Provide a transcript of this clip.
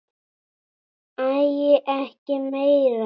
Æi, ekki meira!